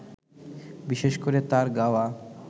বিশেষ করে তার গাওয়া